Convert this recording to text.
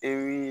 E bi